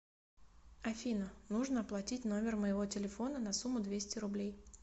афина нужно оплатить номер моего телефона на сумму двести рублей